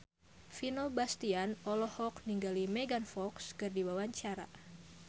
Vino Bastian olohok ningali Megan Fox keur diwawancara